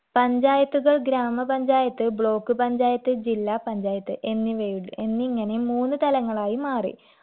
പഞ്ചായത്തുകൾ ഗ്രാമപഞ്ചായത്ത് block പഞ്ചായത്ത് ജില്ലാ പഞ്ചായത്ത് എന്നിവയു എന്നിങ്ങനെ മൂന്ന് തലങ്ങളായി മാറി